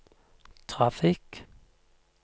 trafikk